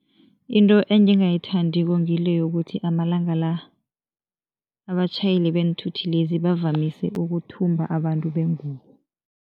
Into engingayithandiko ngile yokuthi amalanga la, abatjhayeli beenthuthi lezi bavamise ukuthumba abantu bengubo.